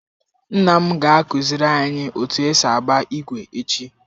Nna m ga akụziri anyi otu esi agba igwe echi.